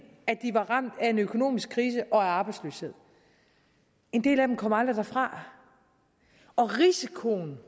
at de var ramt af en økonomisk krise og af arbejdsløshed en del af dem kom aldrig derfra og risikoen